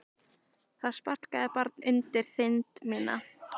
Það sparkar barn undir þind mína.